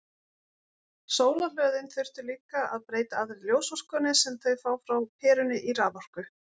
Sólarhlöðin þyrftu líka að breyta allri ljósorkunni sem þau fá frá perunni í raforku.